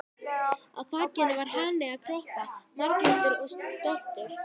Á á þakinu var hani að kroppa, marglitur og stoltur.